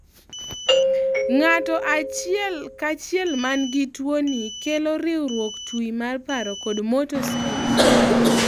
ng'ato achiel kaa chiel man gi tuo nii kelo riwruok twi mar paro kod motor skills